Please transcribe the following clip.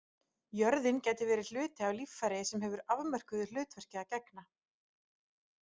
Jörðin gæti verið hluti af líffæri sem hefur afmörkuðu hlutverki að gegna.